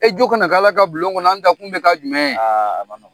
E jo kana k'alla ka bulon kɔnɔ, an da kun bɛ k'a jumɛn ye ?